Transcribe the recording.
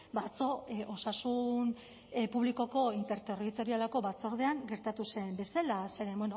ba atzo osasun publikoko interterritorialeko batzordean gertatu zen bezala zeren